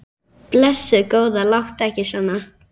Blessuð góða, láttu ekki svona.